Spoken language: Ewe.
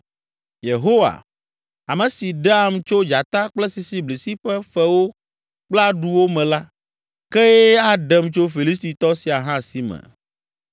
Yehowa, ame si ɖeam tso dzata kple sisiblisi ƒe fewo kple aɖuwo me la, kee aɖem tso Filistitɔ sia hã si me!”